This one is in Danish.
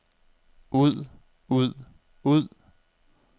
ud ud ud